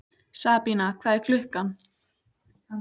Sabína, hvað er klukkan?